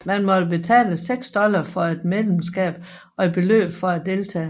Man måtte betale seks dollar for et medlemskab og et beløb for deltagelse